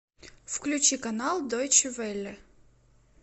включи канал дойче велле